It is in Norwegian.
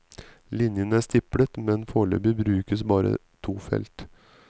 Linjen er stiplet, men foreløpig brukes bare to felt.